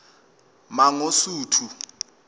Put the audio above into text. mangosuthu